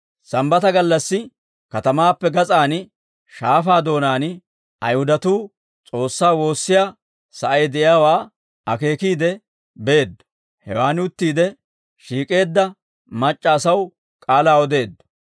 Sambbata gallassi, katamaappe gas'aan shaafaa doonaan Ayihudatuu S'oossaa woossiyaa sa'ay de'iyaawaa akeekiide beeddo; hewaan uttiide shiik'eedda mac'c'a asaw k'aalaa odeeddo.